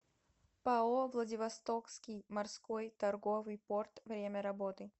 пао владивостокский морской торговый порт время работы